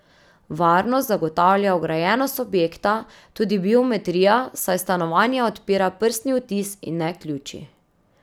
Varnost zagotavlja ograjenost objekta in tudi biometrija, saj stanovanja odpira prstni odtis in ne ključi.